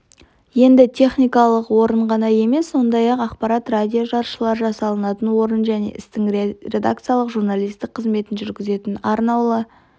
енді техникалық орын ғана емес сондай-ақ ақпарат радио-жаршылар жасалатын орын және осы істің редакциялық журналистік қызметін жүргізетін арнаулы